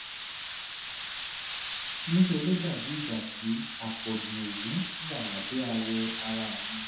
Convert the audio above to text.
ní ṣe ló dàbí ìgbà tí àpọ̀jù òwú wà lábẹ́ àwọ̀ ara mi